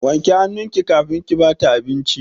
Wanke hannunki kafin ki ba ta abinci!